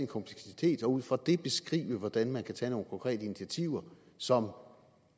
kompleksitet og ud fra det beskrive hvordan man kan tage nogle konkrete initiativer som